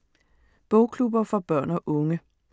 Bogklubber for børn og unge